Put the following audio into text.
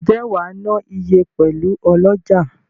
Nje wa na iye pelu oloja?